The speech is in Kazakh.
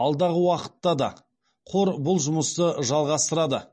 алдағы уақытта да қор бұл жұмысты жалғастырады